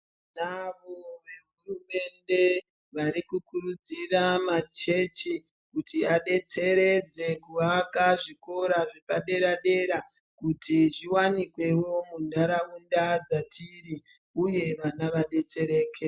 Tinavo zvehurumende varikukurudzira machechi kuti adetseredze kuaka zvikora zvepadera dera kuti zviwanikwewo muntaraunda dzatiri uye vana vadetsereke.